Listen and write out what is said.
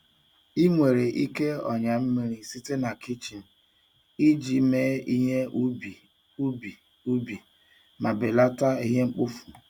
Ị nwere ike ọnyà mmiri site na kichin iji mee ihe ubi ubi ubi ma belata ihe mkpofu.